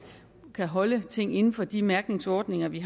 kan holde tingene inden for de mærkningsordninger vi